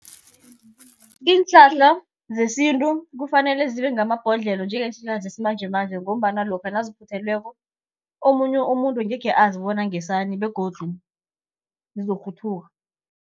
Iinhlahla zesintu kufanele zibe ngamabhodlelo njengeenhlahla zesimanjemanje, ngombana lokha naziphuthelweko omunye umuntu angekhe azi bona ngesani begodu zizorhuthuka.